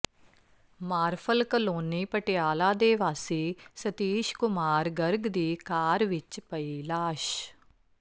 ਮਾਰਫਲ colony Patiala ਦੇ ਵਾਸੀ ਸਤੀਸ਼ ਕੁਮਾਰ ਗਰਗ ਦੀ ਕਾਰ ਵਿਚ ਪਈ ਲਾਸ਼